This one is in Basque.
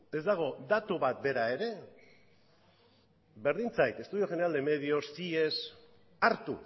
ez dago datu bat bera ere berdin zait estudio general de medios cies hartu